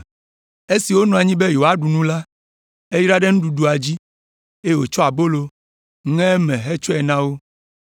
Esi wonɔ anyi be yewoaɖu nu la, eyra ɖe nuɖuɖua dzi, eye wòtsɔ abolo, ŋe eme hetsɔe na wo.